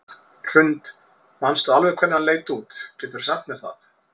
Hrund: Manstu alveg hvernig hann leit út, geturðu sagt mér það?